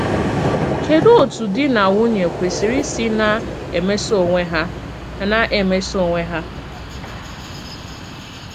Kédù òtú dì nà nwùnỳè kwesìrì ísì nà-èmèsò onwe hà? nà-èmèsò onwe hà?